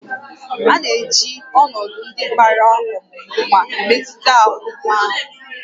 A na-eji ọnọdụ ndị gbara ọmụmụ nwa emetụta aha nwa ahụ